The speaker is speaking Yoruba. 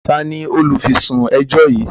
Tani olufisun ẹjọ yí?